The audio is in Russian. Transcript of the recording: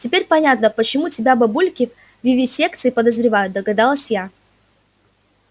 теперь понятно почему тебя бабульки в вивисекции подозревают догадалась я